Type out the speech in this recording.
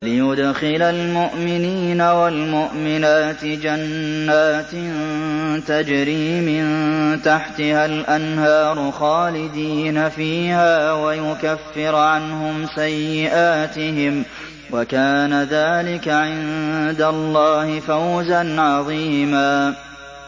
لِّيُدْخِلَ الْمُؤْمِنِينَ وَالْمُؤْمِنَاتِ جَنَّاتٍ تَجْرِي مِن تَحْتِهَا الْأَنْهَارُ خَالِدِينَ فِيهَا وَيُكَفِّرَ عَنْهُمْ سَيِّئَاتِهِمْ ۚ وَكَانَ ذَٰلِكَ عِندَ اللَّهِ فَوْزًا عَظِيمًا